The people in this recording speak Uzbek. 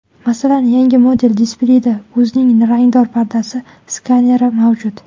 Masalan, yangi model displeyida ko‘zning rangdor pardasi skaneri mavjud.